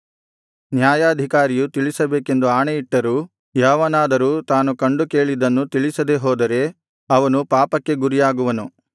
ನ್ಯಾಯಾಧಿಕಾರಿಯು ತಿಳಿಸಬೇಕೆಂದು ಆಣೆ ಇಟ್ಟರೂ ಯಾವನಾದರೂ ತಾನು ಕಂಡು ಕೇಳಿದ್ದನ್ನು ತಿಳಿಸದೆಹೋದರೆ ಅವನು ಪಾಪಕ್ಕೆ ಗುರಿಯಾಗುವನು